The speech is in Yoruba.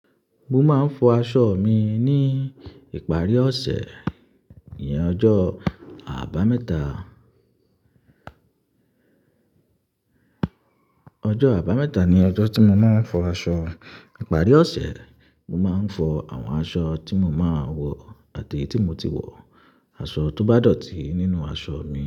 Mo máa ń fọ aṣọ mi ní ìparí ọ̀sẹ̀, ìyẹn ọjọ́ àbámẹ́ta. Ọjọ́ àbámẹ́ta ni ọjọ́ tí mo máa ń fọ aṣọ, ìparí ọ̀sẹ̀ ni mo máa ń fọ àwọn aṣọ tí mo máa wọ̀ àti èyí tí mo ti wọ̀ aṣọ tí ó bá dọ̀tí nínú àwọn aṣọ mi.